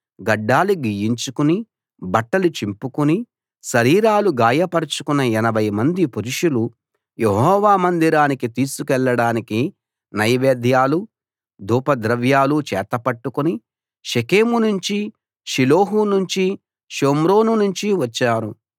గడ్డాలు గీయించుకుని బట్టలు చింపుకుని శరీరాలు గాయపరచుకున్న 80 మంది పురుషులు యెహోవా మందిరానికి తీసుకెళ్ళడానికి నైవేద్యాలు ధూపద్రవ్యాలు చేతపట్టుకుని షెకెము నుంచి షిలోహు నుంచి షోమ్రోను నుంచి వచ్చారు